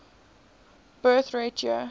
birth rate year